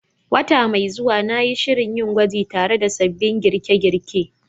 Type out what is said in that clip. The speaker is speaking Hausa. Wata mai zuwa, na yi shirin yin gwaji tare da sabbin girke-girke